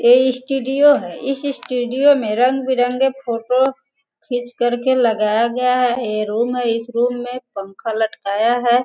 ये स्टूडियो है। इस स्टूडियो में रंग बिरंग के फोटो खींच कर के लगाया गया है। ये रूम है इस रूम में पंखा लटकाया है।